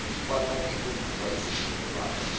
kwanange kwenziwa isivumelwano